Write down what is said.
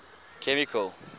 chemical